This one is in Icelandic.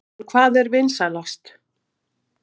En hvað er vinsælast?